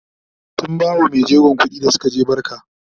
sun bawa maijegon kuɗi da Suka je barka